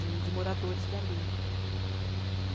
De de moradores dali. E